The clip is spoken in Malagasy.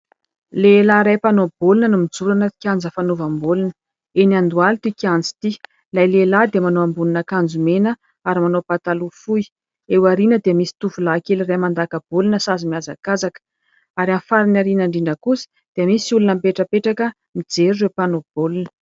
Lehilahy iray mpanaobolina no mijoro ao anaty kianja fanovam-bolona .Eny Andohaly ity kianja ity, ilay lehilahy dia manao ambonin-ankanjo mena ary manao pataloha fohy. Eo aorihana dia misy tovolahy kely iray mandaka-bolina sady mihazakazaka ary amin'ny farany aorihana indrindra kosa dia misy olona mipetrapetraka mijery ireo mpanaobolina.